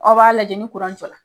Aw b'a lajɛ ni jɔra.